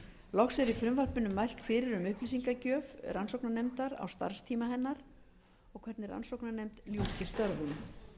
loks er í frumvarpinu mælt fyrir um upplýsingagjöf rannsóknarnefndar á starfstíma hennar og hvernig rannsóknarnefnd ljúki störfum